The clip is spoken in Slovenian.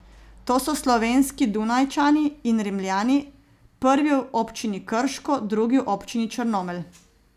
To so slovenski Dunajčani in Rimljani, prvi v občini Krško, drugi v občini Črnomelj.